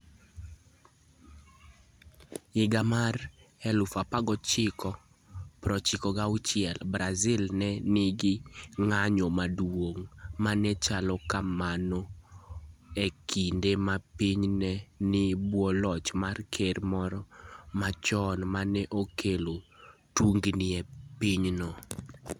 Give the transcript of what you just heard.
E higa mar 1996, Brazil ne nigi ng'anyo maduong ' ma ne chalo kamano, e kinde ma pinyno ne nie bwo loch mar Ker moro machon ma ne okelo tungni e pinyno.